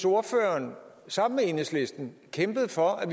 ordføreren sammen med enhedlisten kæmpede for at